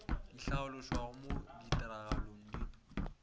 di hlaološwago mo ditiragalong di